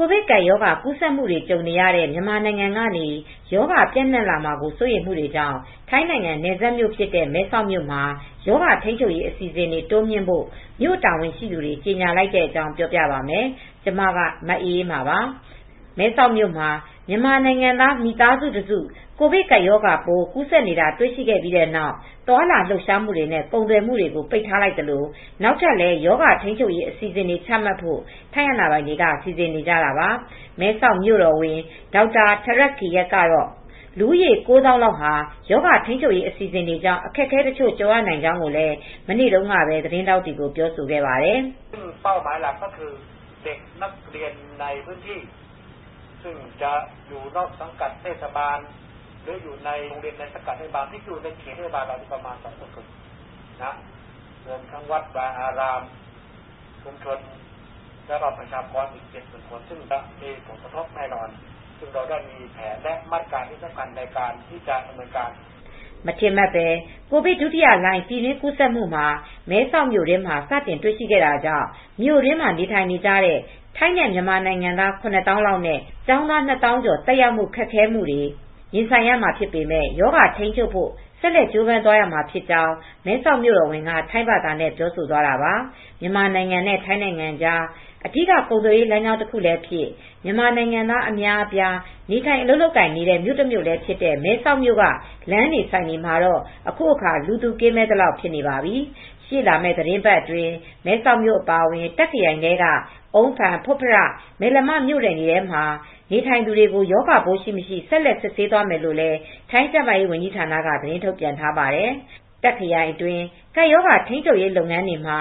ိုဗစ်ကပ်ရောဂါ ကူးစက်မှုတွေ ကြုံနေရတဲ့ မြန်မာနိုင်ငံကနေ ရောဂါပျံ့နှံ့လာမှာ စိုးရိမ်မှုကြောင့် ထိုင်းနိုင်ငံ နယ်စပ်မြို့ဖြစ်တဲ့ မဲဆောက်မှာ ရောဂါထိန်းချုပ်ရေး အစီအစဉ်တွေ တိုးမြှင့်ဖို့ မြို့တာဝန်ရှိသူတွေ ကြေညာလိုက်တဲ့အကြောင်း ပြောပြပါမယ်။ ဗွီအိုအေမြန်မာပိုင်း သတင်းထောက် မအေးအေးမာက သတင်းပေးပို့ထားပါတယ်။ မဲဆောက်မြို့မှာ မြန်မာနိုင်ငံသား မိသားစုတစု ကိုဗစ်ကပ်ရောဂါကူးစက်နေတာ တွေ့ရှိခဲ့ပြီးနောက် သွားလာလှုပ်ရှားမှုတွေနဲ့ ကုန်သွယ်မှုတွေကို ပိတ်ထားလိုက်သလို နောက်ထပ်လည်း ရောဂါထိမ်းချုပ်ရေး အစီအစဉ်တွေ ချမှတ်ဖို့ ထိုင်းအာဏာပိုင်တွေ စီစဉ်နေကြတာပါ။ မဲဆောက်မြိုတော်ဝန် Dr. Therdkiat Chinsoranan ကတော့ လူဦးရေ ၉၀,၀၀၀ လောက်ဟာရောဂါထိန်းချုပ်ရေး အစီအစဉ်တွေကြောင့် အခက်အခဲတချို့ ကြုံရနိုင်ကြောင်းလည်း မနေ့တုန်းကပဲ သတင်းထောက်တွေကို ပြောဆိုခဲ့ပါတယ်။ မထင်မှတ်ဘဲ ကိုဗစ်ဒုတိယလှိုင်း ပြည်တွင်းကူးဆက်မှုဟာ မဲဆောက်မြို့တွင်းမှာ စတင်တွေ့ရှိခဲ့တာကြောင့် မြိုနယ်တွင်းနေထိုင်နေကြတဲ့ ထိုင်းနဲ့ မြန်မာနိုင်ငံသား ၇၀,၀၀၀ နဲ့ ကျောင်းသား ၂၀,၀၀၀ ကျော် သက်ရောက်မှု ခက်ခဲမှုတွေ ရင်ဆိုင်ရမှာဖြစ်ပေမဲ့ ရောဂါထိမ်းချုပ်နိုင်ဘို့ ဆက်လက်ကြိုးပမ်သွားရမှာဖြစ်ကြောင်း မဲဆောက်မြို့တော်ဝန်က ထိုင်းဘာသာနဲ့ ပြောဆိုသွားတာပါ။ မြန်မာနိုင်ငံနဲ့ ထိုင်းနိုင်ငံကြား အဓိကကုန်သွယ်ရေးလမ်းကြောင်း တခုလည်းဖြစ် မြန်မာနိုင်ငံသား အများအပြား နေထိုင်အလုပ်လုပ်ကိုင်နေကြတဲ့ မြို့တမြို့လည်းဖြစ်တဲ့ မဲဆောက်မြို့လမ်းတွေ၊ ဆိုင်တွေမှာတော့ အခုအခါ လူသူကင်းမဲ့သလောက် ဖြစ်နေပါပြီ။ ရှေ့လာမယ့် သီတင်းပတ်အတွင်း မဲဆောက်မြို့ အပါအဝင် တခ့်ခရိုင်ထဲက အုန်းဖန်၊ ဖွတ်ဖရ၊ မယ်လမ မြို့နယ်မှာ နေထိုင်သူတွေကို ရောဂါပိုးရှိ၊ မရှိ ဆက်လက်စစ်ဆေးသွားမယ်လို့လည်း ထိုင်းကျန်းမာရေးဝန်ကြီး ဌာနက သတင်းထုတ်ပြန်ထားပါတယ်။ တာ့ခ်ခရိုင်အတွင်း ကပ်ရောဂါ ထိန်းချုပ်ရေးလုပ်ငန်းတွေမှာ